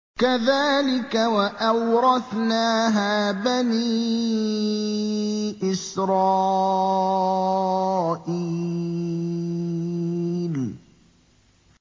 كَذَٰلِكَ وَأَوْرَثْنَاهَا بَنِي إِسْرَائِيلَ